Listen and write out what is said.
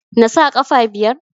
Nasa ƙafa biyar?